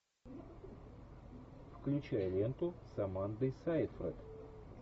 включай ленту с амандой сайфред